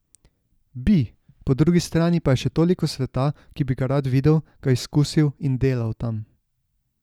Bi, po drugi strani pa je še toliko sveta, ki bi ga rad videl, ga izkusil, in delal tam.